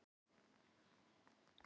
Hún var þar í meðferð.